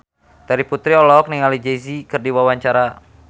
Terry Putri olohok ningali Jay Z keur diwawancara